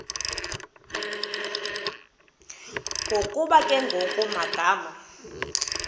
ngokuba kungekho magama